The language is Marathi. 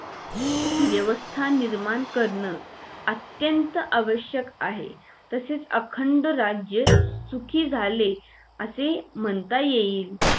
व्यवस्था निर्माण करणं अत्यंत आवश्यक आहे तसेच अखंड राज्य सुखी झाले असे म्हणता येईल